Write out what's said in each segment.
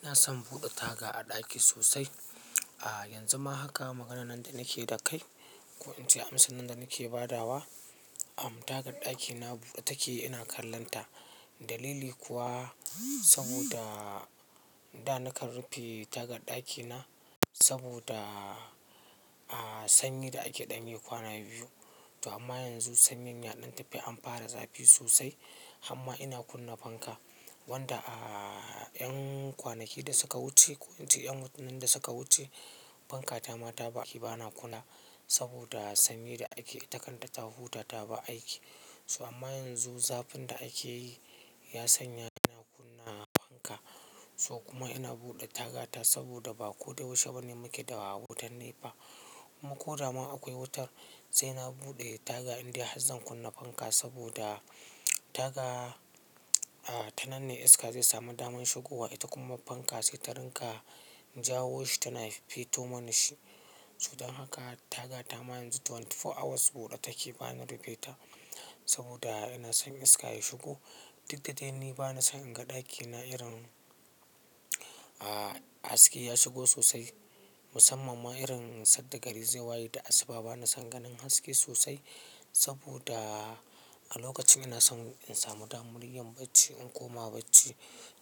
Ina son bude taga a ɗaki sosai. Yanzu ma haka maganan da nake da kai, ko inda amsan da nake badawa, tagar ɗakina bude take ina kallonta. Dalili kuwa saboda da nakan rufe tagar ɗakina saboda sanyi da ake ɗan yi kwana biyu. To amma yanzu sanyin ya ɗan tafi amfara zafi sosai. Hamma ina kunna fanka wanda 'yan kwanaki da suka wuce ko inda 'yan watannin da suka wuce, fanka ta mata ba ki bana kula saboda sanyi da ake itakan ta ta huta ta ba aiki. To amma yanzu zafin da akeyi yasanya na kunna fanka, so kuma ina buɗe tagata saboda ba kodayaushe bane muke da wutan Nepa. Ko dama akwai wutar sai na buɗe taga indai Harzan kunna fanka saboda taga a tananne iska zai samu daman shigowa. Ita kuma fanka sai ta rinƙa Jawoshi tana feto mani shi. Sodan haka taga ta ma yanzu 24 hours bude take bana rufe ta saboda ina son iska ya shigo. Duk da dai ni bana son in ga ɗakina irin a haske ya shigo sosai. Musamman ma irin sadda gari zai waye da asuba bana son ganin haske sosai saboda a lokacin ina son in samu damaryin bacci in koma bacci.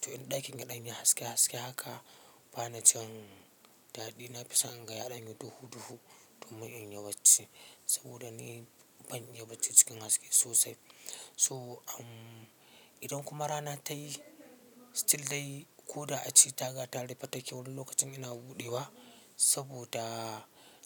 To in ɗakin yaɗan yi haske haske haka bana jin dadi. Na fi son in ga yaɗanyi duhu duhu domin in yi bacci saboda ni ban yi bacci cikin haske sosai. So idan kuma rana ta yi still dai ko da a ce taga ta rufe take wani lokacin ina buɗewa saboda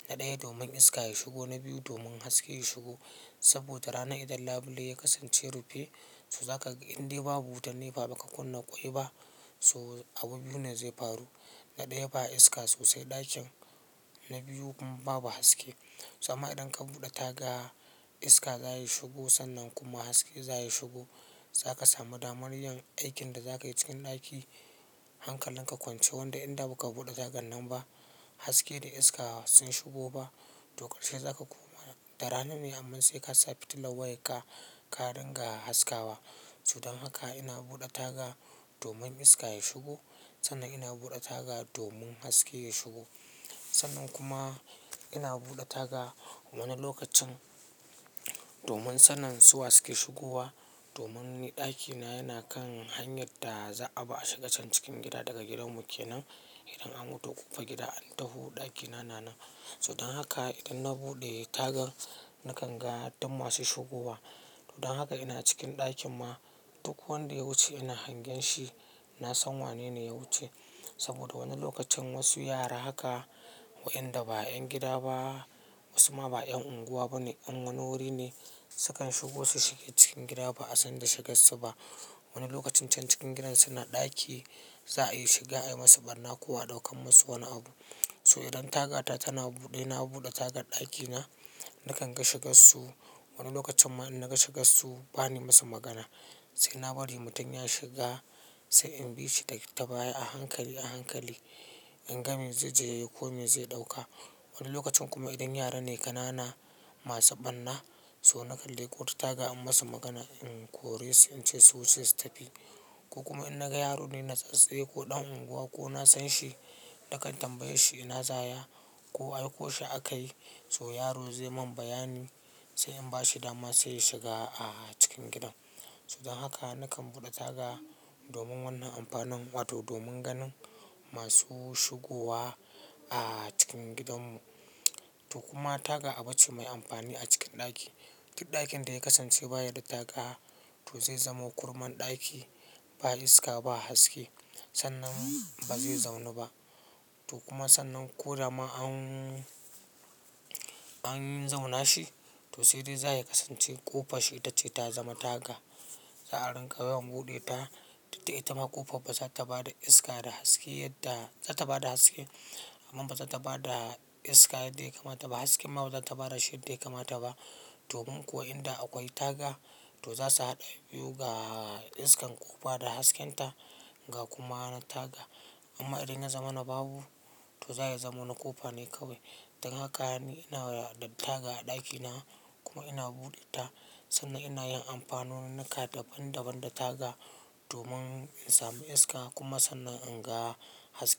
na ɗaya domin iska ya shigo na biyu domin haske ya shigo. Saboda rana idan labule ya kasance rufe so za ka ga indai babu wutar nefa ba ka kunna ƙoi ba so abu biyu ne zai faru. Na ɗaya ba iska sosai ɗakin na biyu kuma babu haske. Amma idan ka buɗe taga iska za ya shigo sannan kuma haske za ya shigo. Za ka samu damaryin aikin da za ka yi cikin ɗaki hankalin ka kwance wanda inda baka buɗe taga nan ba haske da iska sun shigo ba. Tokar she za ka koma da rana ne amma sai ka sa fitillan wayar ka ka rinƙa haskawa. Sodan haka ina buɗe taga domin iska ya shigo sannan ina buɗe taga domin haske ya shigo. Sannan kuma ina buɗe taga wani lokacin domin sanin su wa suke shigowa domin ɗakina yana kan hanyar da za'a bi a shiga can cikin gida daga gidan mu ke nan. Idan an wuto ƙofar gida an taho ɗakina na nan. Sodan haka idan na buɗe tagar nakan ga duk masu shigowa. Sodan haka ina cikin ɗakin ma duk wanda ya wuce ina hangen shi. Na san wanene ya wuce saboda wani lokacin wasu yara haka wa inda ba 'yan gida ba wasu ma ba 'yan unguwa bane 'yan wani wuri ne sukan shigo su shiga cikin gida ba'a san da shigan su ba. Wani lokacin can cikin gidan suna ɗaki za a yi shiga ai masu barna ko a ɗaukan masu wani abu. So idan tagata tana buɗe ina buɗe taga ɗakina nakan ga shigan su. Wani lokacin ma in na ga shigan su bani masa magana sai na bari mutum ya shiga sai in bi shi ta baya a hankali a hankali in ga me zai je yi ko me zai ɗauka. Wani lokacin kuma idan yara ne kanana masu ɓarna so na kalle ƙota taga in masu magana in kore su in ce su wuce su tafi. Ko kuma in naga yaro ne na tsatstse ko ɗan unguwa ko na san shi nakan tambaye shi ina zaya ko aiko shi a kai so yaro zai mun bayani sai in ba shi dama sai ya shiga a cikin gidan. Sodan haka nakan buɗe taga domin wannan amfanin wato domin ganin masu shigowa a cikin gidan mu. To kuma taga abu ce mai amfani a cikin ɗaki. Duk ɗakin da ya kasance baya da taga to zai zamo kurman ɗaki ba iska ba haske sannan ba zai zauna ba. To kuma sannan ko dama an an zauna shi to sai dai za ya kasance ƙofa shi itace ta zama taga za a rinƙa yawan buɗe ta. Duk da ita ma ƙofa ba za ta ba da iska da haske yadda za ta ba da haske amma ba za ta ba da iska yadda ya kamata ba. Hasken ma ba za ta ba da shi yadda ya kamata ba. Domin ko inda akwai taga to za su haɗa biyu ga iskan ƙofa da hasken ta ga kuma na taga. Amma idan ya zama na babu to zai zamo na ƙofa ne kawai. Dan haka ni ina da taga a ɗakina kuma ina buɗe ta sannan ina yin amfanona naka daban daban da taga domin in samu iska kuma sannan in ga haske.